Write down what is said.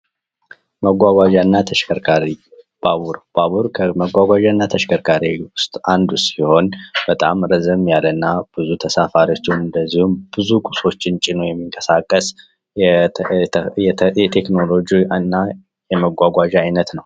መጓጓዣ እና ተሽከርካሪ ባቡር ከመጓጓዣ እና ከተሸከርካሪ ውስጥ አንዱ ሲሆን በጣም ረዘም ያለ እና ብዙ ተሳፋሪዎችን እንዲሁም ብዙ ቁሶችን ጭኖ የመጎ የሚንቀሳቀስ የቴክኖሎጂ እና የመጓጓዣ አይነት ነው።